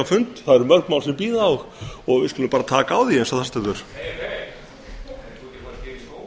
fund mörg mál bíða og við skulum bara taka á því eins og